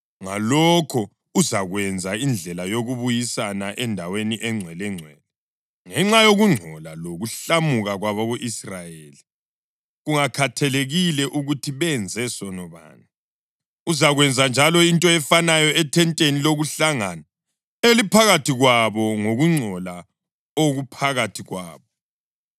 Ngalokho uzakwenza indlela yokubuyisana, endaweni eNgcwelengcwele ngenxa yokungcola lokuhlamuka kwabako-Israyeli, kungakhathalekile ukuthi benze sono bani. Uzakwenza njalo into efanayo ethenteni lokuhlangana eliphakathi kwabo ngokungcola okuphakathi kwabo.